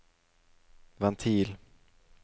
ventil